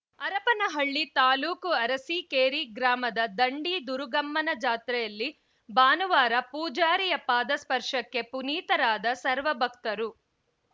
ಹರಪನಹಳ್ಳಿ ತಾಲೂಕು ಅರಸಿಕೇರಿ ಗ್ರಾಮದ ದಂಡಿ ದುರುಗಮ್ಮನ ಜಾತ್ರೆಯಲ್ಲಿ ಭಾನುವಾರ ಪೂಜಾರಿಯ ಪಾದ ಸ್ಪರ್ಶಕ್ಕೆ ಪುನಿತಾರಾದ ಸರ್ವ ಭಕ್ತರು